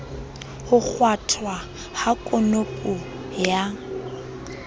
ho kgwathwa ha konopo ya